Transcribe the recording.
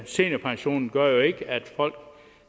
seniorpensionen gør jo ikke at folk